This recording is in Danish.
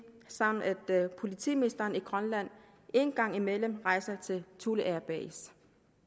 samt at politimesteren i grønland en gang imellem rejser til thule air base